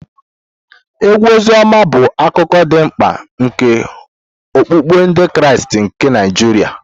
Egwu Oziọma bụ akụkụ dị mkpa nke okpukpe Ndị Kraịst nke Naijiria.